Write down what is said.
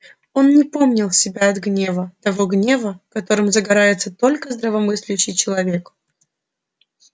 он не помнил себя от гнева того гнева которым загорается только здравомыслящий человек